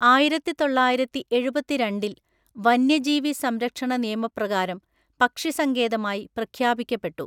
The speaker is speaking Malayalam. ആയിരത്തിതൊള്ളായിരത്തിഎഴുപത്തിരണ്ടില്‍ വന്യജീവി സംരക്ഷണ നിയമപ്രകാരം പക്ഷിസങ്കേതമായി പ്രഖ്യാപിക്കപ്പെട്ടു.